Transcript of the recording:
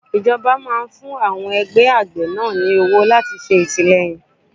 Ìjọba máa ń fún àwọn ẹgbẹ́ àgbẹ̀ náà ní owó láti ṣe àtìleyìn fún wọn.